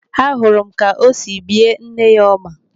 Ahụrụ m ka o si bie nne ya ọma.